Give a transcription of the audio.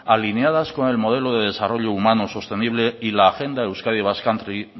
alineadas con el modelo de desarrollo humano sostenible y la agenda euskadi basque country